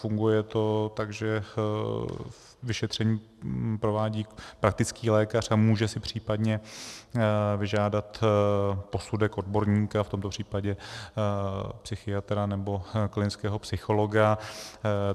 Funguje to tak, že vyšetření provádí praktický lékař a může si případně vyžádat posudek odborníka, v tomto případě psychiatra nebo klinického psychologa.